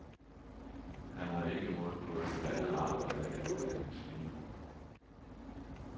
Han har ikke mod på at finde andet arbejde eller uddannelse lige nu.